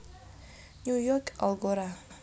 New York Algora